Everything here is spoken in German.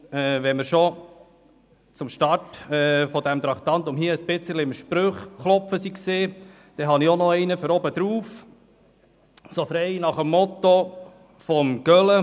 Weil wir schon seit Beginn des Traktandums Sprüche klopfen, setze ich noch einen oben drauf, frei nach dem Motto von Gölä: